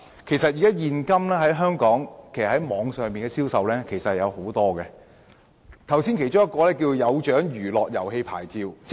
現時香港網絡銷售相當普遍，主體質詢亦提到"有獎娛樂遊戲牌照"。